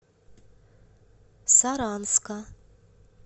саранска